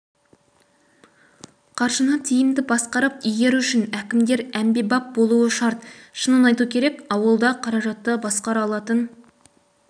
қаржыны тиімді басқарып игеру үшін әкімдер әмбебап болуы шарт шынын айту керек ауылда қаражатты басқара алатын